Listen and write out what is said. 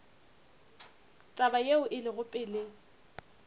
taba yeo e lego pele